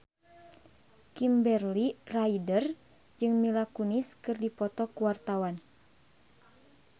Kimberly Ryder jeung Mila Kunis keur dipoto ku wartawan